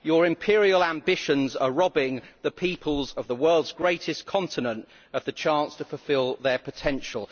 Your imperial ambitions are robbing the peoples of the world's greatest continent of the chance to fulfil their potential.